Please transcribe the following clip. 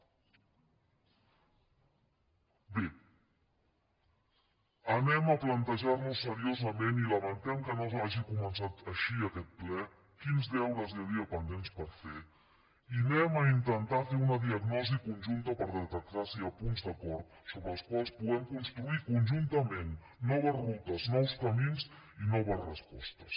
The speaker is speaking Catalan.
bé anem a plantejar nos seriosament i lamentem que no s’hagi començat així aquest ple quins deures hi havia pendents per fer i anem a intentar fer una diagnosi conjunta per detectar si hi ha punts d’acord sobre els quals puguem construir conjuntament noves rutes nous camins i noves respostes